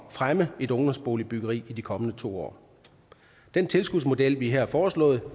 fremme et ungdomsboligbyggeri i de kommende to år den tilskudsmodel vi har foreslået